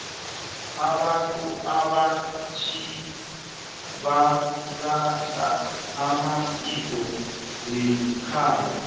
abantu abatjha balahla amasiko wekhabo